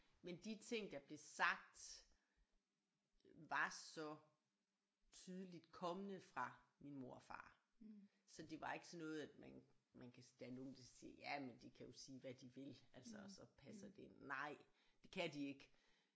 Men de ting der blev sagt var så tydeligt kommende fra min mor og far så det var ikke sådan noget at man man kan der er nogen der siger ja men de kan jo sige hvad de vil altså så passer det ind nej det kan de ikke